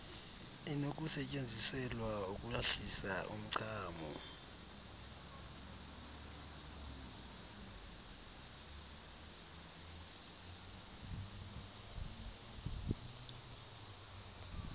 inokusetyenziselwa ukuhlisa umchamo